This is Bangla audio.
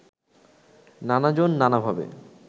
নানাজন নানাভাবে